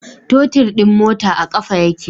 Totir din mota a kafa yake